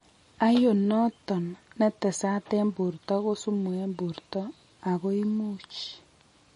Iron noton netesat en borto ko sumu en borto ako imuch